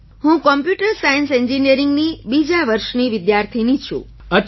હું computer science ઍન્જિનિયરિંગની બીજા વર્ષની વિદ્યાર્થિની છું